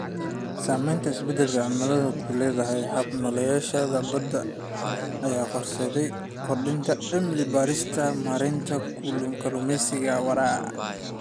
Saamaynta isbeddelka cimiladu ku leedahay hab-nololeedyada badda ayaa horseedaya kordhinta cilmi-baarista maaraynta kalluumeysiga waara.